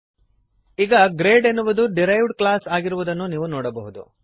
ಈಗ ಗ್ರೇಡ್ ಎನ್ನುವುದು derived class ಆಗಿರುವುದನ್ನು ನೀವು ನೋಡಬಹುದು